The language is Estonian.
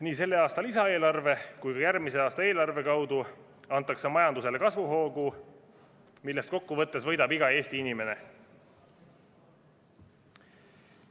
Nii selle aasta lisaeelarve kui ka järgmise aasta eelarve abil antakse majandusele kasvuhoogu, millest kokkuvõttes võidab iga Eesti inimene.